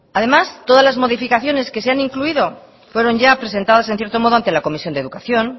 además todas las modificaciones que se han incluido fueron ya presentadas en cierto modo ante la comisión de educación